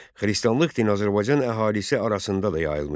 Xristianlıq dini Azərbaycan əhalisi arasında da yayılmışdı.